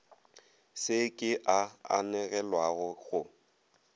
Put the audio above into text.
se ke a anegelwa go